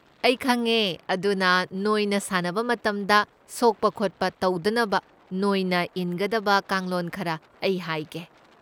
ꯑꯩ ꯈꯪꯉꯦ, ꯑꯗꯨꯅ ꯅꯣꯏꯅ ꯁꯥꯟꯅꯕ ꯃꯇꯝꯗ ꯁꯣꯛꯄ ꯈꯣꯠꯄ ꯇꯧꯗꯅꯕ ꯅꯣꯏꯅ ꯏꯟꯒꯗꯕ ꯀꯥꯡꯂꯣꯟ ꯈꯔ ꯑꯩ ꯍꯥꯏꯒꯦ꯫